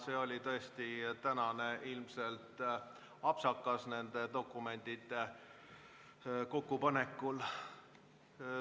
See oli tõesti täna ilmselt apsakas nende dokumentide kokkupanekul.